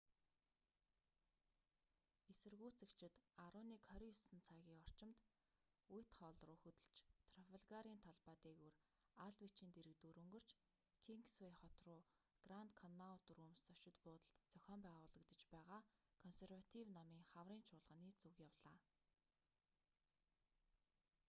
эсэргүүцэгчид 11:29 цагийн орчимд уитхалл руу хөдөлж трафалгарын талбай дээгүүр алдвичийн дэргэдүүр өнгөрч кингсвэй хот руу гранд коннаут рүүмс зочид буудалд зохион байгуулагдаж байгаа консерватив намын хаврын чуулганы зүг явлаа